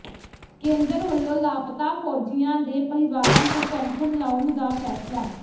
ਕੇਂਦਰ ਵਲੋਂ ਲਾਪਤਾ ਫੌਜੀਆਂ ਦੇ ਪਰਿਵਾਰਾਂ ਨੂੰ ਪੈਨਸ਼ਨ ਲਾਉਣ ਦਾ ਫੈਸਲਾ